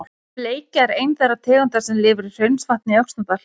Bleikja er ein þeirra tegunda sem lifir í Hraunsvatni í Öxnadal.